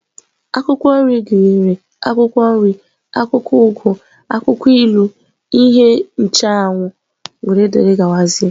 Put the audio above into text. Akwụkwọ nri gụnyere akwụkwọ nri, akwụkwọ ugu, akwụkwọ ilu, ihe ncheanwụ wdg.